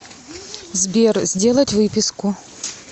сбер сделать выписку